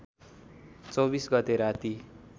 २४ गते राती